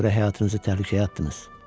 Mənə görə həyatınızı təhlükəyə atdınız.